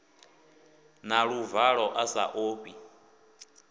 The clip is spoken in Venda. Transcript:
na luvalo a sa ofhi